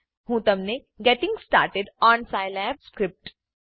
હું તમને getting started on Scilab script